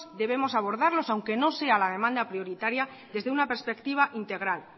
debemos abordarlos aunque no sea la demanda prioritaria desde una perspectiva integral